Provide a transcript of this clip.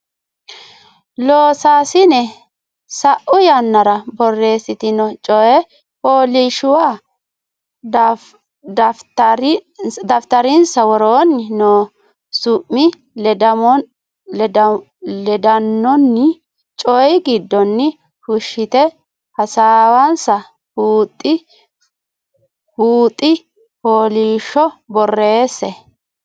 Loossinanni sa u yannara borreessitino coy fooliishshuwa daftarinsa Woroonni noo su mi ledaanonni coy giddonni fushshite hasaawansa buuxi fooliishsho borreesse.